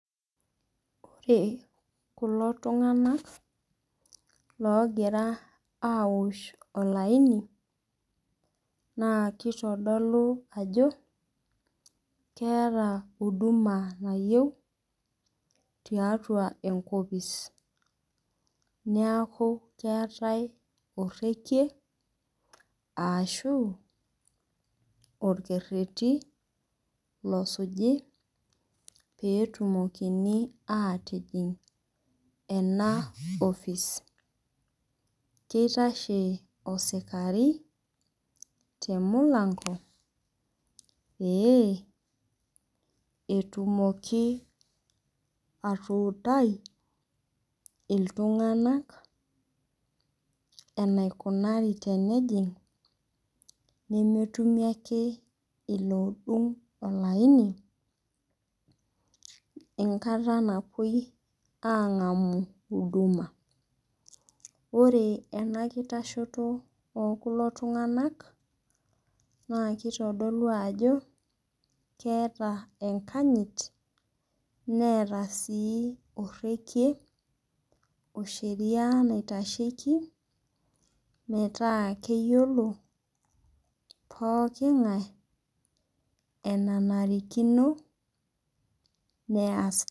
Ore kulo tunganak owoshito olaini naa keitodolu ajo, keeta huduma nayieu tiatua enkopis. Niaku keetae orekie arashuu olkereti osuji peyie etumokini aatijing enaposi. Keitashe orpolisi temulango peyie etumoki atuutai iltunganak enaikunari teneji nemetumi ake iloodung olaini enkata napuoi aangamu huduma. Ore enkitashoto ekulo tunganak neitodolu enkanyit neeta sii orekie naitasheiki metaa keyiolo pooki ngae enanarikino peyie eas.